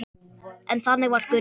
En þannig var Gunna.